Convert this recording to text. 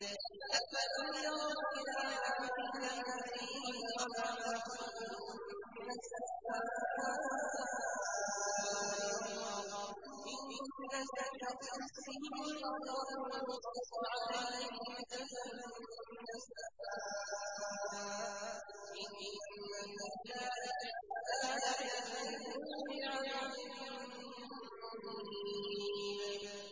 أَفَلَمْ يَرَوْا إِلَىٰ مَا بَيْنَ أَيْدِيهِمْ وَمَا خَلْفَهُم مِّنَ السَّمَاءِ وَالْأَرْضِ ۚ إِن نَّشَأْ نَخْسِفْ بِهِمُ الْأَرْضَ أَوْ نُسْقِطْ عَلَيْهِمْ كِسَفًا مِّنَ السَّمَاءِ ۚ إِنَّ فِي ذَٰلِكَ لَآيَةً لِّكُلِّ عَبْدٍ مُّنِيبٍ